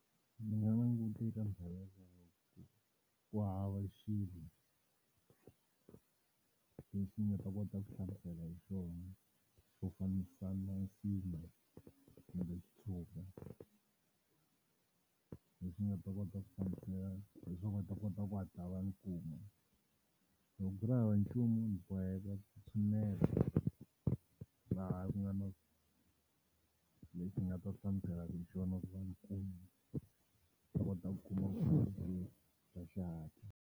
Ndzi nga ku hava swilo leswi ndzi nga ta kota ku hlamusela hi xona xo fambisana kumbe leswi nga ta kota ku hlamusela leswi nga ta kota ku hatla va ndzi kuma. Loko ku ri hava nchumu ndzi boheka ku tshinela laha ku nga na leswi nga ta hlamuselaka hi xona ku va ndzi kuma, ndzi ta kota ku kuma vukorhokeri bya xihatla.